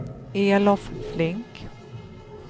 Elof Flink